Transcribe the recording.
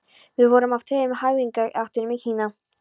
Við vorum af tveimur höfðingjaættum í Kína.